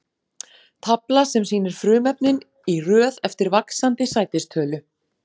Tafla sem sýnir frumefnin í röð eftir vaxandi sætistölu.